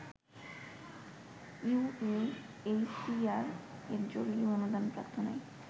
ইউএএইচসিআর এর জরুরি অনুদান প্রার্থনায়